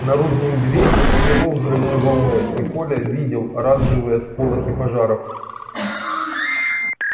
наружную дверь смело взрывной волной и коля видел оранжевые сполохи пожаров